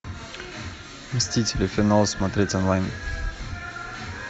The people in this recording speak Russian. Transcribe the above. мстители финал смотреть онлайн